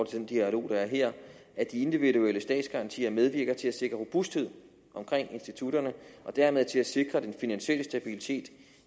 til den dialog der er her at de individuelle statsgarantier medvirker til at sikre robusthed omkring institutterne og dermed til at sikre den finansielle stabilitet